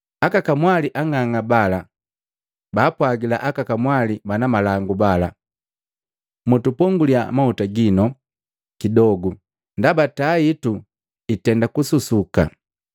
Aka kamwali ang'ang'a bala baapwagila aka kamwali bana malangu bala, ‘Mtuponguliya mahuta ginu kidogo ndaba taa hitu itenda kususuka.’